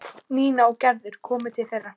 Nína og Gerður komu til þeirra.